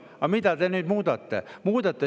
Aga mida te nüüd muudate?